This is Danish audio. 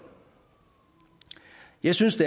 jeg synes